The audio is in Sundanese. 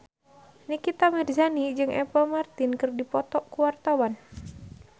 Nikita Mirzani jeung Apple Martin keur dipoto ku wartawan